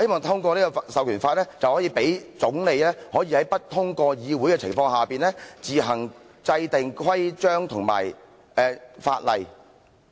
這項授權法可以讓總理在不通過議會的情況下，自行制訂規章和法例。